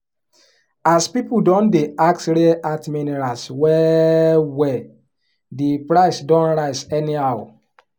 as people don dey ask rare earth minerals well well the price don rise anyhow